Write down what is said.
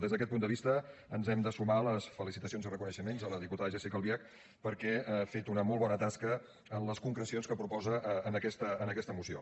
des d’aquest punt de vista ens hem de sumar a les felicitacions i reconeixements a la diputada jéssica albiach perquè ha fet una molt bona tasca en les concrecions que proposa en aquesta moció